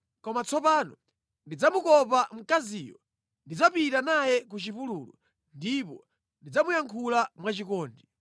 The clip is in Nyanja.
“Koma tsopano ndidzamukopa mkaziyo; ndidzapita naye ku chipululu ndipo ndidzamuyankhula mwachikondi.